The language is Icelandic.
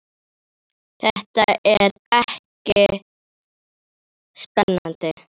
Þetta kemur ekki á óvart.